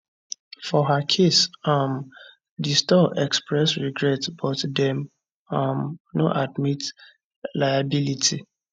for her case um di store express regret but dem um no admit liability